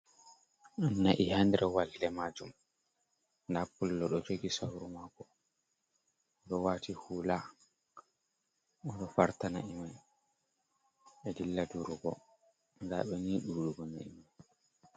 Na’i ha nder walde majum, nda pullo ɗo jogi sauru maako, ɗo waati huula oɗo farta na'i mai e dilla durugo, nda ɓe ni ɗuɗugo na'i mai.